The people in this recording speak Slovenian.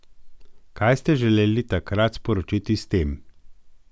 Kaj ste želeli takrat sporočiti s tem?